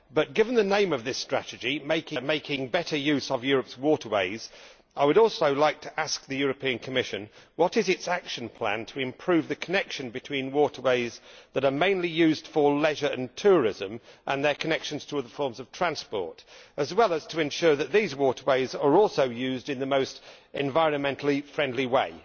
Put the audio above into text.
Given the name of this strategy Making better use of Europe's waterways', I would also like to ask the European Commission what is its action plan to improve the connection between waterways that are mainly used for leisure and tourism and their connections to other forms of transport, as well as to ensure that these waterways are also used in the most environmentally friendly way?